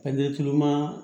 A ɲɛ kilenman